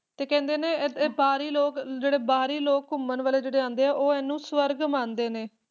ਤੇ ਕਹਿੰਦੇ ਨੇ ਇਹ ਬਾਹਰੀ ਲੋਕ ਬਾਹਰੀ ਲੋਕ ਘੁੰਮਣ ਵਾਲੇ ਜਿਹੜੇ ਆਉਂਦੇ ਹੈ ਉਹ ਇਹਨੂੰ ਸਵਰਗ ਮੰਨਦੇ ਨੇ